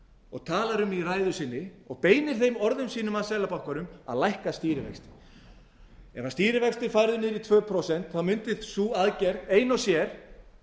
og talar um í ræðu sinni og beinir þeim orðum sínum að seðlabankanum að lækka stýrivexti ef stýrivextir eru færðir niður í tvö prósent mundi sú aðgerð ein og sér